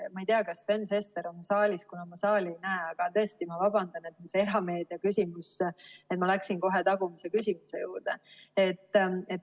Ma ei tea, kas Sven Sester on saalis, kuna ma saali ei näe, aga tõesti ma vabandan, et mul see erameedia küsimus ja ma läksin kohe tagumise küsimuse juurde.